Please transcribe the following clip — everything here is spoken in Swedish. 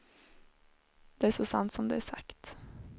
Det är så sant som det är sagt.